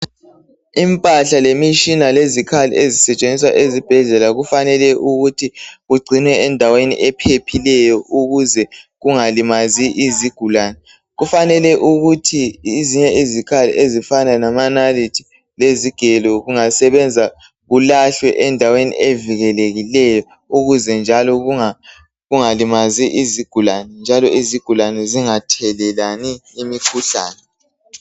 Impahla ,lemitshina, lezikhali ezisetshenziswa ezibhedlela kufanele ukuthi kugcinwe endaweni ephephileyo ukuze kungalimazi izigulani .Kufanele ukuthi ezinye izikhali ezifana lamanalithi lezigelo kungasebenza kulahlwe endaweni evikelekileyo ukuze njalo kungalimazi izigulani , njalo izigulani zingathelelani imikhuhlane